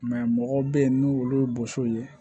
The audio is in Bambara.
mɔgɔw bɛ yen n'u olu ye boso ye